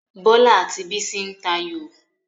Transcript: Bọlá àti Bísí ń tayò